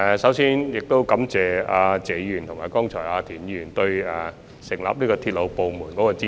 首先，感謝謝議員和田議員剛才對成立鐵路部門的支持。